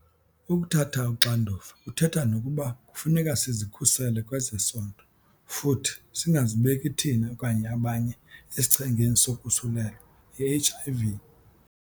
Ukuthatha uxanduva kuthetha nokuba kufuneka sizikhusele kwezesondo futhi singazibeki thina okanye abanye esichengeni sokusulelwa yi-HIV.